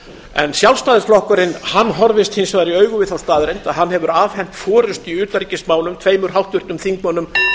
en sjálfstæðisflokkurinn horfist hins vegar í augu við þá staðreynd að hann hefur afhent forustu í utanríkismálum tveimur háttvirtum þingmönnum framsóknarflokksins ásmundi